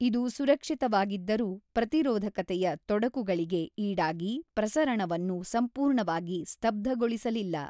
ಇದು ಸುರಕ್ಷಿತವಾಗಿದ್ದರೂ, ಪ್ರತಿರೋಧಕತೆಯ ತೊಡಕುಗಳಿಗೆ ಈಡಾಗಿ ಪ್ರಸರಣವನ್ನು ಸಂಪೂರ್ಣವಾಗಿ ಸ್ತಬ್ಧಗೊಳಿಸಲಿಲ್ಲ.